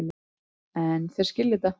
En þeir skilja þetta.